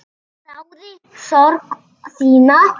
Þáði sorg þína.